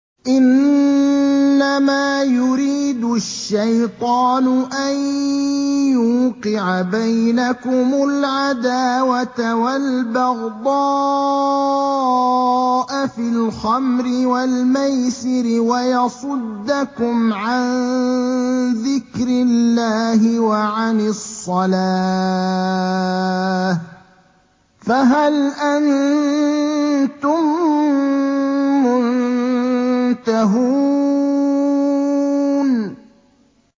إِنَّمَا يُرِيدُ الشَّيْطَانُ أَن يُوقِعَ بَيْنَكُمُ الْعَدَاوَةَ وَالْبَغْضَاءَ فِي الْخَمْرِ وَالْمَيْسِرِ وَيَصُدَّكُمْ عَن ذِكْرِ اللَّهِ وَعَنِ الصَّلَاةِ ۖ فَهَلْ أَنتُم مُّنتَهُونَ